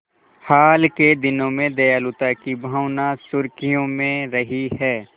हाल के दिनों में दयालुता की भावना सुर्खियों में रही है